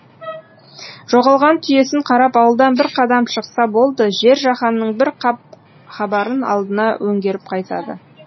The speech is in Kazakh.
жоғалған түйесін қарап ауылдан бір қадам шықса болды жер жаһанның бір қап хабарын алдына өңгеріп қайтады